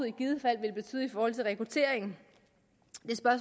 i givet fald vil betyde for rekrutteringen